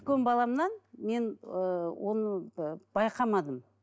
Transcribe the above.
баламнан мен ыыы оны ыыы байқамадым